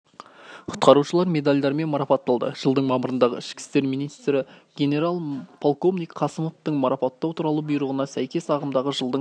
құтқарушылар медальдармен марапатталды жылдың мамырындағы ішкі істер министрі генерал-полковник қасымовтың марапаттау туралы бұйрығына сәйкес ағымдағы жылдың